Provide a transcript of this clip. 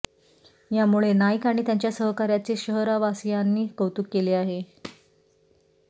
यामुळे नाईक आणि त्यांच्या सहकार्यांचे शहरवासियांनी कौतुक केले आहे